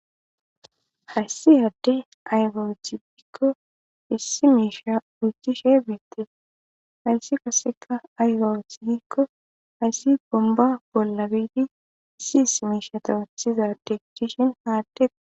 hayssi adde ayiba wotibikko issi miisha ucchishe beettii hayssi kaseka aygawucthdikko hayssi bomba bolla biidi issi issi miishata wathiza deggishin haaddea